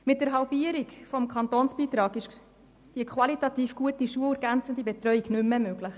Mit der Halbierung des Kantonsbeitrags ist die qualitativ gute, schulergänzende Betreuung nicht mehr möglich.